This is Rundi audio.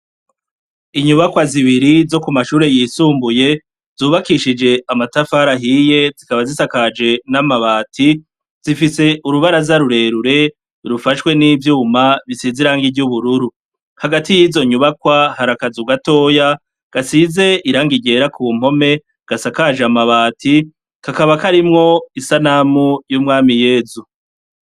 Inyubakwa zibiri zo ku mashure yisumbuye zubakishije amatafarahiye zikaba zisakaje n'amabati zifise urubara z'arurerure rufashwe n'ivyuma bisiz iranga iryo ubururu hagati y'izo nyubakwa harakaza ugatoya gasize iranga igera ku mpome gasakajeamo abati kakaba koarimwo isanamu y'umwami yezu.